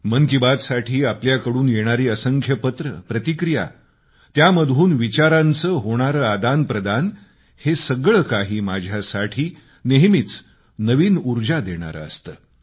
मन की बातसाठी आपल्याकडून येणारी असंख्य पत्रं प्रतिक्रिया त्यामधून विचारांचं होणारं आदानप्रदान हे सगळं काही माझ्यासाठी नेहमीच नवीन ऊर्जा देणारं असतं